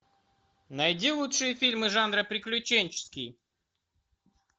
найди лучшие фильмы жанра приключенческий